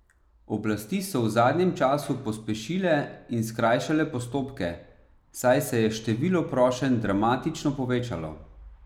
Oblasti so v zadnjem času pospešile in skrajšale postopke, saj se je število prošenj dramatično povečalo.